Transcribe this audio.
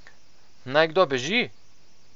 Naj kdo beži?